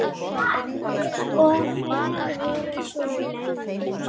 Og hver voru svo launin?